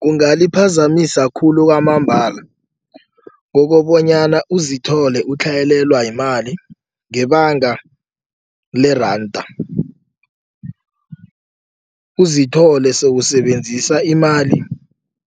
Kungaliphazamisa khulu kwamambala kokobonyana uzithole utlhayelelwa yimali ngebanga leranda. Uzithole sewusebenzisa imali